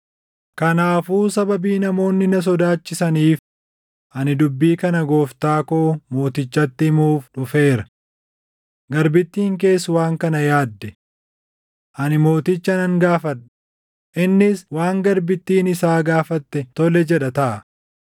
“Kanaafuu sababii namoonni na sodaachisaniif ani dubbii kana gooftaa koo mootichatti himuuf dhufeera. Garbittiin kees waan kana yaadde; ‘Ani mooticha nan gaafadha; innis waan garbittiin isaa gaafatte tole jedha taʼa.